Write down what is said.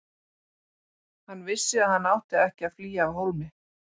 Hann vissi að hann átti ekki að flýja af hólmi.